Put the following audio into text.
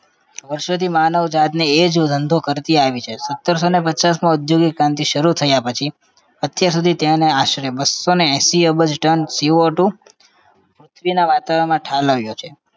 વર્ષોથી માનવજાત એ જ ધંધો કરતી આવી છે સત્તરસોને પચાસમાં ઔદ્યોગિક ક્રાંતિ શરુ થયા પછી અત્યાર સુધી તેને આશરે બસ્સોને એંશી અબજ tonCOtwo પૃથ્વીના વાતાવરણ માં ઠાલવ્યો છે